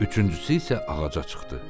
Üçüncüsü isə ağaca çıxdı.